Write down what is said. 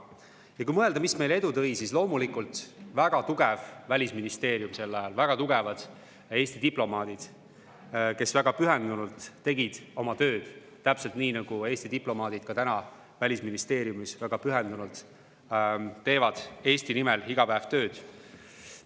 Ja kui mõelda, mis meile edu tõi, siis loomulikult oli see väga tugev Välisministeerium sel ajal, väga tugevad Eesti diplomaadid, kes tegid oma tööd väga pühendunult, täpselt nii, nagu Eesti diplomaadid praegugi Välisministeeriumis väga pühendunult teevad Eesti nimel iga päev tööd.